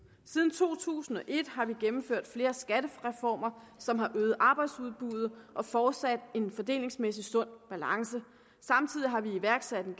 siden to tusind og et har vi gennemført flere skattereformer som har øget arbejdsudbuddet og fortsat en fordelingsmæssig sund balance samtidig har vi iværksat en